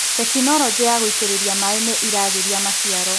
Tekinologĩ ya gũitĩrĩria maĩ nĩiragĩria maciaro.